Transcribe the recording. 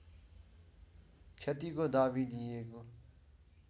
क्षतिको दावी लिइएको